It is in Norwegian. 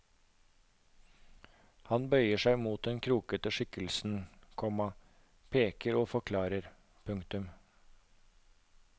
Han bøyer seg mot den krokete skikkelsen, komma peker og forklarer. punktum